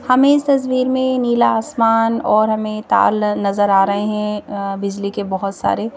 हमें इस तस्वीर में नीला आसमान और हमें ताल नजर आ रहे हैं बिजली के बहोत सारे--